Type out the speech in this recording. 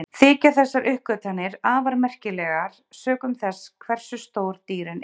Þykja þessar uppgötvanir afar merkilegar sökum þess hversu stór dýrin eru.